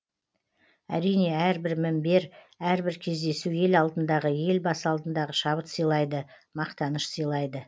әрине әрбір мімбер әрбір кездесу ел алдындағы ел басы алдындағы шабыт сыйлайды мақтаныш сыйлайды